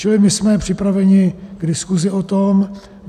Čili my jsme připraveni k diskusi o tom.